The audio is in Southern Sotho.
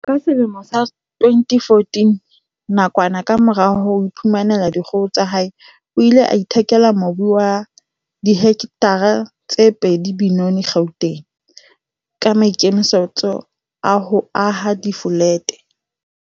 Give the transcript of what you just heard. Ka selemo sa 2014, nakwana kamora ho iphumanela dikgoho tsa hae, o ile a ithekela mobu wa dihektare tse pedi Benoni, Gauteng, ka maikemisetso a ho aha difolete.